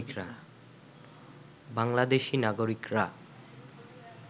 বাংলাদেশী নাগরিকরা